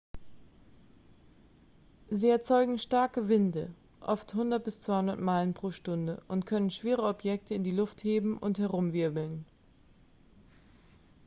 sie erzeugen starke winde oft 100-200 meilen/stunde und können schwere objekte in die luft heben und herumwirbeln